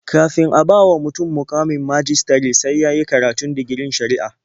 Kafin a bawa mutum muƙamin majistare sai ya yi karatun digirin shari'a.